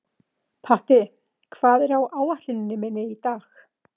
Patti, hvað er á áætluninni minni í dag?